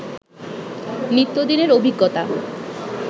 নিত্যদিনের অভিজ্ঞতা